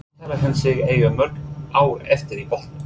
Hvað telur hann sig eiga mörg ár eftir í boltanum?